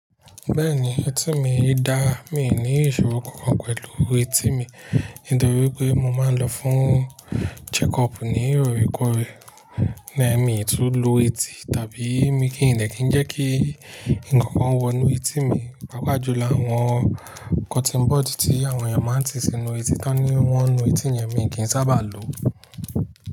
Bẹ́ẹ̀ni, etí mi da, mi ò ní ìṣòro kan pẹ̀lú etí mi nítorí pé mo máa ń lọ fún checkup ní ìròyìn kó rẹ, lẹ́ẹ̀mi tún lo etí tàbí mi kì í lè kí ń jẹ́ kí ǹkan kan wọ inú etí mi, pàápàá jù lọ àwọn cotton bud tí àwọn èèyàn máa ń ti sínú etí tán ni wọ́n nu etí yẹn mi kì í sábà lo.